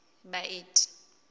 baeti